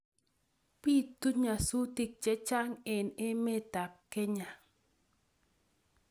Bitu nyasutik chechang eng emetab Kenya